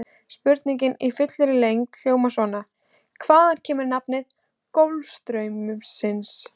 Spurningin í fullri lengd hljóðaði svona: Hvaðan kemur nafn Golfstraumsins?